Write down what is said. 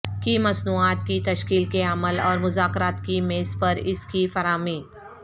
کی مصنوعات کی تشکیل کے عمل اور مذاکرات کی میز پر اس کی فراہمی